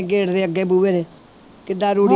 Gate ਦੇ ਅੱਗੇ ਬੂਹੇ ਦੇ ਕਿੱਦਾਂ ਰੂੜੀ